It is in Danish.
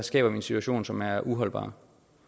skaber vi en situation som er uholdbar